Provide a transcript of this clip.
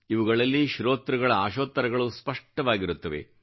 ಇವುಗಳಲ್ಲಿ ಶೋತೃಗಳ ಆಶೋತ್ತರಗಳು ಸ್ಪಷ್ಟವಾಗಿರುತ್ತವೆ